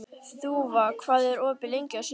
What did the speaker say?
Þúfa, hvað er opið lengi á sunnudaginn?